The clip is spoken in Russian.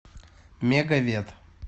мегавет